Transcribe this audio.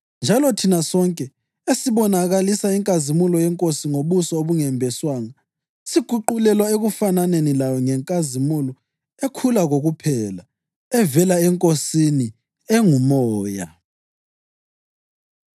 Njalo thina, sonke esibonakalisa inkazimulo yeNkosi ngobuso obungembeswanga, siguqulelwa ekufananeni layo ngenkazimulo ekhula kokuphela, evela eNkosini, enguMoya.